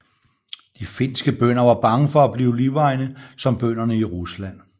De finske bønder var bange for at blive livegne som bønderne i Rusland